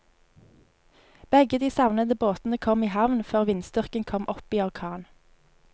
Begge de savnede båtene kom i havn før vindstyrken kom opp i orkan.